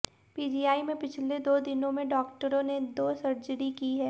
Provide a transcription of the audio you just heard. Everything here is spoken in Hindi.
पीजीआई में पिछले दो दिनों में डॉक्टरों ने दो सर्जरी की है